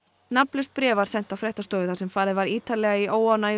nafnlaust bréf var sent á fréttastofu þar sem farið var ítarlega í óánægju